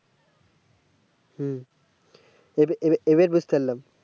হ্যাঁ এবা এবার বুঝতে পারলাম